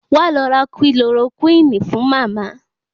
Wá lọ ra Kilorokúínì fún Màmá.